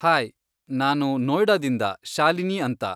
Hi, ನಾನು ನೋಯ್ಡಾದಿಂದ ಶಾಲಿನಿ ಅಂತ.